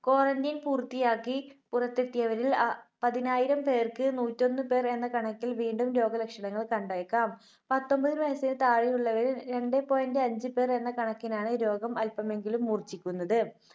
Quarantine പൂർത്തിയാക്കി പുറത്തെത്തിയവരിൽ അ പതിനായിരം പേർക്ക് നൂറ്റൊന്ന് പേർ എന്ന കണക്കിൽ വീണ്ടും രോഗലക്ഷണങ്ങൾ കണ്ടേക്കാം. പത്തൊൻപത് വയസിന് താഴെയുള്ളവരിൽ രണ്ടേ point അഞ്ച് പേർ എന്ന കണക്കിനാണ് രോഗം അല്പമെങ്കിലും മൂർച്ഛിക്കുന്നത്.